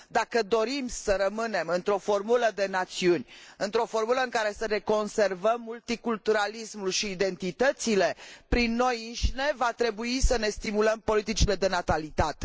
Dacă dorim să rămânem într o formulă de națiuni, într o formulă în care să ne conservăm multiculturalismul și identitățile, prin noi înșine va trebui să ne stimulăm politicile de natalitate.